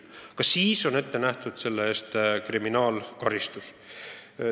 Ka siis on selle eest ette nähtud kriminaalkaristus.